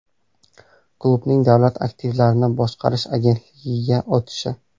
Klubning Davlat aktivlarini boshqarish agentligiga o‘tishi?